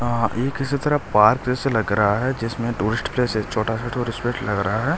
अ ये किसी तरह पार्क जैसे लग रहा है जिसमें टूरिस्ट प्लेस एक छोटा सा टूरिस्ट प्लेस लग रहा है।